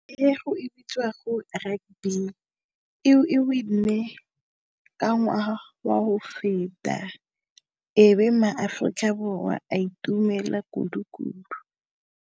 E go e bitšwago rugby, e e win-e ka ngwaga wa ho feta, e be maAfroika Borwa a itumela kudu-kudu.